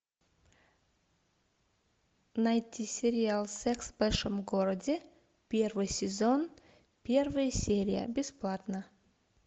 найти сериал секс в большом городе первый сезон первая серия бесплатно